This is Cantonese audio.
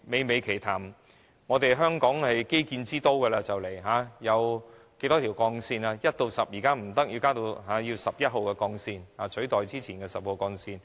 香港快將成為基建之都，現在不僅有一至十號的幹線，未來更要增建至十一號幹線以取代之前的十號幹線。